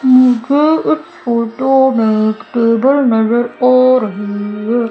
इस फोटो में एक टेबल नजर आ रही है।